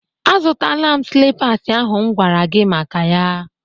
Azụtaala m slippas ahụ m gwara gi maka ya